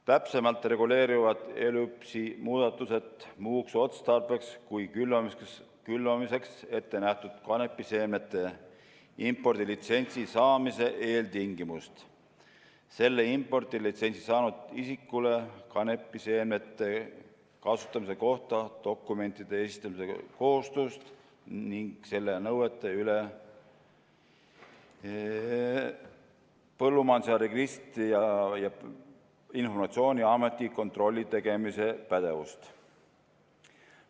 Täpsemalt reguleerivad ELÜPS-i muudatused muuks otstarbeks kui külvamiseks ette nähtud kanepiseemnete impordilitsentsi saamise eeltingimust, selle impordilitsentsi saanud isikule kanepiseemnete kasutamise kohta dokumentide esitamise kohustust ning selle nõuete üle Põllumajanduse Registrite ja Informatsiooni Ameti kontrolli tegemise pädevust.